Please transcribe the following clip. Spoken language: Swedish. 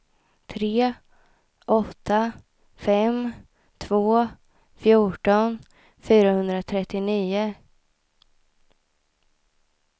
tre åtta fem två fjorton fyrahundratrettionio